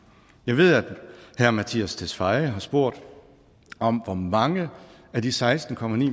jeg ved at herre mattias tesfaye har spurgt om hvor mange af de seksten